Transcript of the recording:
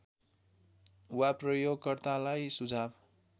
वा प्रयोगकर्तालाई सुझाव